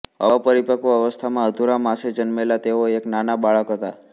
અપરિપક્વ અવસ્થામાં અધૂરા માસે જન્મેલા તેઓ એક નાના બાળક હતા